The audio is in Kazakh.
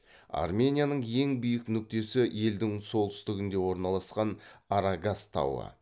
арменияның ең биік нүктесі елдің солтүстігінде орналасқан арагац тауы